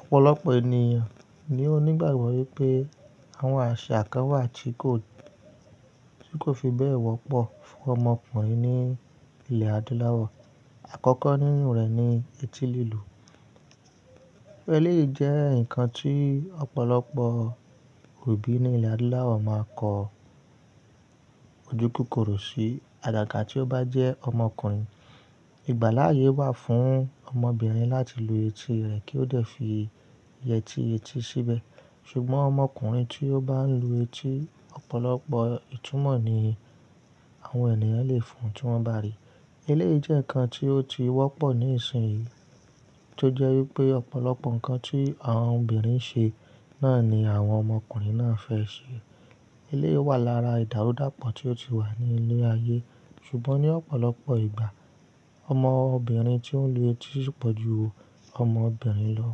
Ọ̀pọ̀lọpọ̀ ènìyàn ni ó nígbàgbọ́ wípé àwọn àṣà kan wà tí kò, tí kò fi bẹ́ẹ̀ wọ́pọ̀ fún ọmọkùnrin ní ilẹ̀ adúláwọ̀. Àkọ́kọ́ nínú rẹ̀ ni etí lílù. Eléyìí jẹ́ nǹkan tí ọ̀pọ̀lọpọ̀ òbí ní ilẹ̀ adúláwọ̀ máa kọ ojúkòkòrò sí. Àgàgà tí ó bá jẹ́ ọmọkùnrin, ìgbàláyè wà fún ọmọbìnrin láti lu etí rẹ̀ kí ó dẹ̀ fi yẹtí etí síbẹ̀. Ṣùgbọ́n ọmọkùnrin tí ó bá ń lu etí, ọ̀pọ̀lọpọ̀ ìtumọ̀ ni àwọn ènìyàn lè fún tí wọ́n bá rí i. Eléyìí jẹ́ nǹkan tí ó ti wọ́pọ̀ ní ìsìn yìí tó jẹ́ wípé ọ̀pọ̀lọpọ̀ ǹkan tí àwọn obìnrin ń ṣe náà ni àwọn ọmọkùnrin náà fẹ́ ṣe. Eléyìí wà lára ìdàrúdàpọ̀ tí ó ti wà ní ilé ayé. Ṣùgbọ́n ní ọ̀pọ̀lọpọ̀ ìgbà, ọmọbìnrin tí ń lu etí sì pọ̀ ju ọmọbìnrin lọ.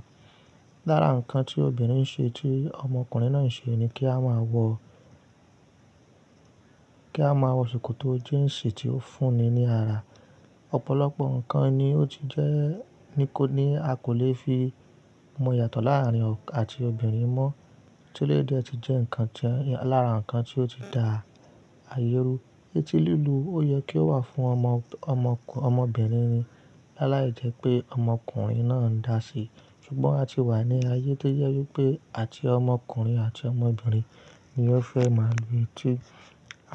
Lára ǹkan tí obìnrin ń ṣe tí ọmọkùnrin náà ń ṣe ni kí a máa wọ, kí a máa wọ ṣòkòtò jíǹsì tí ó fúnni ní ara. Ọ̀pọ̀lọpọ̀ ǹkan ni ó ti jẹ́ ní kò ní, a kò lè fi mó yàtọ̀ láàárín ọkùnrin àti obìnrin mọ́ tí eléyìí dẹ̀ ti jẹ́ nǹkan jẹ́ lára ǹkan tí ó ti dà àyé rú. Etí lílu, ó yẹ kí ó wà fún ọmọ, ọmọkùnrin, ọmọbìnrin ni. Láàláì jẹ́ pé ọmọkùnrin náà ń dà á sí. Ṣùgbọ́n a ti wà ní ayé tó jẹ́ wípé àti ọmọkùnrin àti ọmọbìnrin ni ó fẹ́ máa lu etí.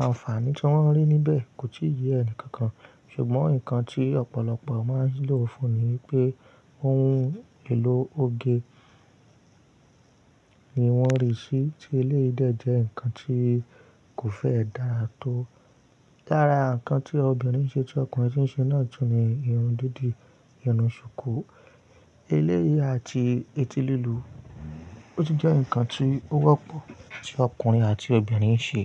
Àǹfààní tí wọ́n rí níbẹ̀ kò tí ì yé ẹni kankan. Ṣùgbọ́n nǹkan tí ọ̀pọ̀lọpọ̀ máa ń lò fún ni wípé òhún èlò oge ni wọ́n rí sí tí eléyìí dẹ̀ jẹ́ nǹkan tí kò fẹ́ dà á tó. Lára ǹkan tí obìnrin ń ṣe tí ọkùnrin sì ń ṣe náà jù ni irun dídì, irun ṣùkú. Eléyìí àti etí lílù ó ti jẹ́ nǹkan tí ó wọ́pọ̀ tí ọkùnrin àti obìnrin ń ṣe.